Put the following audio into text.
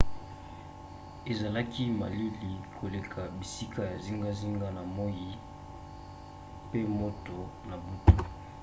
ezalaki malili koleka bisika ya zingazinga na moi pe moto na butu